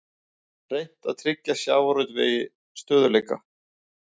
Reynt að tryggja sjávarútvegi stöðugleika